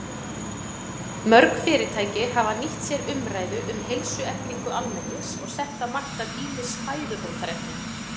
Mörg fyrirtæki hafa nýtt sér umræðu um heilsueflingu almennings og sett á markað ýmis fæðubótarefni.